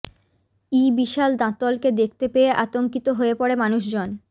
ই বিশাল দাঁতলকে দেখতে পেয়ে আতঙ্কিত হয়ে পড়ে মানুষজন